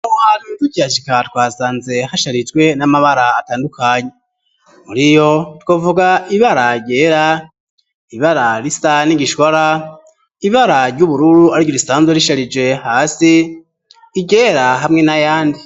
Mwarimu tujashika twasanze hasharijwe n'amabara atandukanyi muri yo twovuga ibearagera ibararisa n'igishwara ibararye ubururu arwa irisanzwa risharije hasi igera hamwe na yandi.